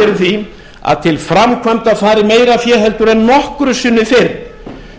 því að til framkvæmda fari meira fé heldur en nokkru sinni fyrr